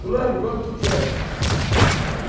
Fulano, quanto tu queres?